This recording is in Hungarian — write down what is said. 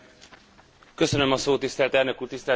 Tisztelt elnök úr, tisztelt képviselőtársaim!